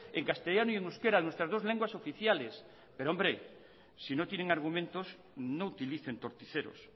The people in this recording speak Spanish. en castellano y en euskera en nuestras dos lenguas oficiales si no tienen argumentos no utilicen torticeros